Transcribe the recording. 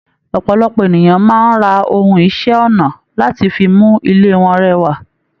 Ọpọlọpọ ènìyàn máa n rá òhun iṣẹ ọnà láti fí mú ilé wọn rẹwà.